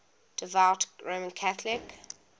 devout roman catholic